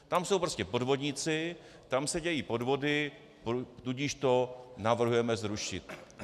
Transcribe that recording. Tam jsou prostě podvodníci, tam se dějí podvody, tudíž to navrhujeme zrušit.